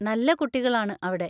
നല്ല കുട്ടികളാണ് അവിടെ.